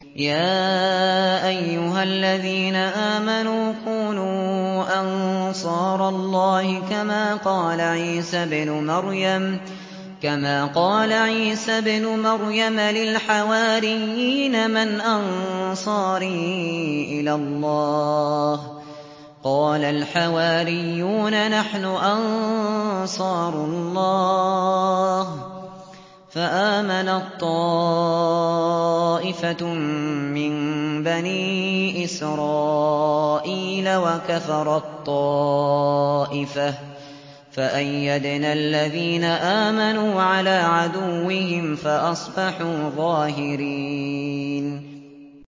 يَا أَيُّهَا الَّذِينَ آمَنُوا كُونُوا أَنصَارَ اللَّهِ كَمَا قَالَ عِيسَى ابْنُ مَرْيَمَ لِلْحَوَارِيِّينَ مَنْ أَنصَارِي إِلَى اللَّهِ ۖ قَالَ الْحَوَارِيُّونَ نَحْنُ أَنصَارُ اللَّهِ ۖ فَآمَنَت طَّائِفَةٌ مِّن بَنِي إِسْرَائِيلَ وَكَفَرَت طَّائِفَةٌ ۖ فَأَيَّدْنَا الَّذِينَ آمَنُوا عَلَىٰ عَدُوِّهِمْ فَأَصْبَحُوا ظَاهِرِينَ